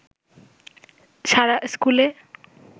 সারা ইস্কুলে